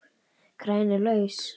Kraginn er laus.